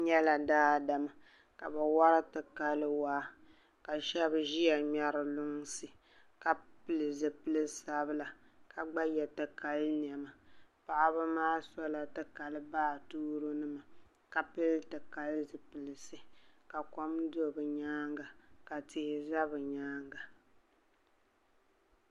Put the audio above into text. N nyela daadam ka bɛ wari dikala waa ka shɛb ʒiya ŋmeri lunsi ka pili zipili sabila ka gba ye dikali nɛma paɣabi maa sola ti kali baatooronima ka pili ti kali zipilisi ka kom do bɛ nyaaŋa ka tihi za bɛ nyaaŋa.